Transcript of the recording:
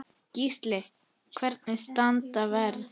Gísli: Hvernig standa verðin?